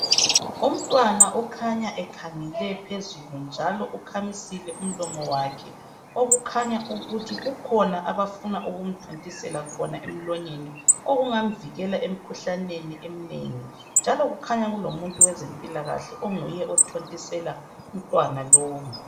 Umtwana okhanya ekhangele phezulu njalo ukhamisile umlomo wakhe .Okukhanya ukuthi kukhona abafuna ukumthontisela khona emlonyeni okungamvikela emkhuhlaneni eminengi .Njalo kukhanya kulomuntu wezempilakahle onguye othontisela umntwana lowu .